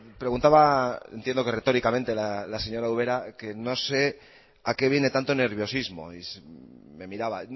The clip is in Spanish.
preguntaba entiendo que retóricamente la señora ubera que no sé a qué viene tanto nerviosismo y me miraba